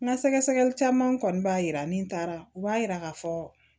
N ka sɛgɛsɛgɛli caman kɔni b'a jira ni n taara u b'a yira k'a fɔ